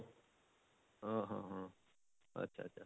ଆଁ ଆଁ ହଁ ଆଚ୍ଛା ଆଚ୍ଛା